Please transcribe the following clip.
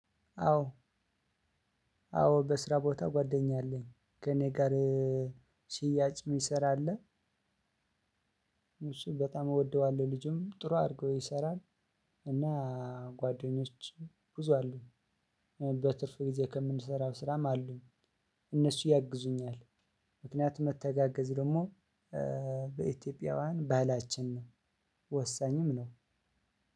አዎ። አዎ በስራ ቦታ ጓደኛ አለኝ ከእኔ ጋር ሺያጭ የምሰራ አለ። እሱን በጣም እወደዋለሁ ልጁም ጥሩ አድርጎ ይሰራል። እና ጓደኞች ብዙ አሉ። በትርፍ ጊዜ ከምንሰራው ስራም አሉኝ። እነሱ ያግዙኛል። ምክንያቱም መተጋገዝ ደግሞ በኢትዮጵያውያን ባህላችን ነው። ወሳኝም ነው።